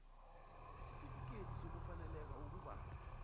isitifikhethi sokufaneleka ukuba